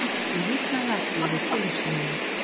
Ég hitnaði allur við tilhugsunina.